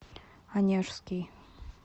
онежский